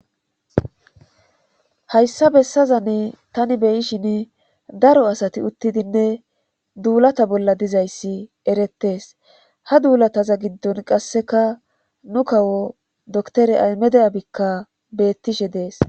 Hayssa bessaza ne tani beyishin daro asati uttidinne duulata bolla dizayssi erettees ha duulataza giddon qasseka nu kawo doktore aymedayabikka bettishe dees.